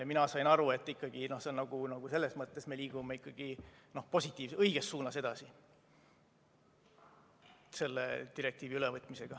Mina sain aru, et ikka selles mõttes me liigume positiivses, õiges suunas edasi selle direktiivi ülevõtmisega.